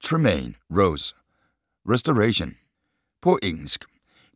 Tremain, Rose: Restoration På engelsk.